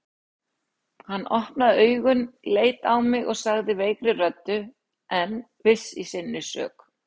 Hann opnaði augun, leit á mig og sagði veikri röddu en viss í sinni sök